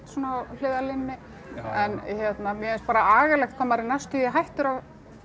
svona á hliðarlínunni en mér finnst bara agalegt hvað maður er næstum því hættur að